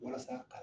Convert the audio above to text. Walasa ka